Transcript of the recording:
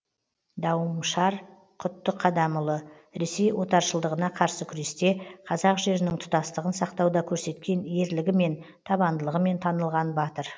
дауымшар құттықадамұлы ресей отаршылдығына қарсы күресте қазақ жерінің тұтастығын сақтауда көрсеткен ерлігімен табандылығымен танылған батыр